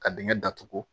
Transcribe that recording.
Ka dingɛ datugu